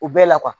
U bɛɛ la kuwa